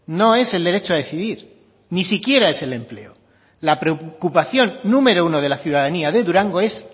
no es el derecho a decidir ni siquiera es el empleo la preocupación número uno de la ciudadanía de durango es